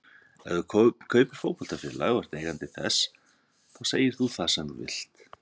Ef þú kaupir fótboltafélag og ert eigandi þess þá segir þú það sem þú vilt.